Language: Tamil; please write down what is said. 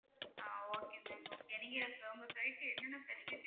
ஆஹ் okay ma'am okay நீங்க அஹ் உங்க side ல என்னென்ன facilities